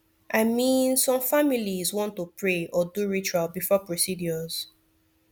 i min some familiz wan to pray or do ritual before procedures